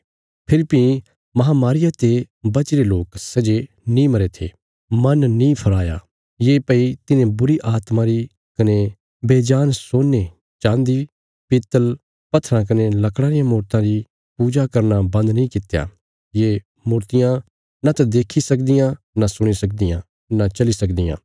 फेरी भीं महामारिया ते बचीरे लोक सै जे नीं मरे थे मन नीं फिराया ये भई तिन्हें बुरीआत्मा री कने बेजान सोने चाँदी पीतल पत्थराँ कने लकड़ां रियां मूर्तियां री पूजा करना बन्द नीं कित्या ये मूर्तियां नांत देक्खी सकदियां नां सुणी सकदियां नां चली सकदियां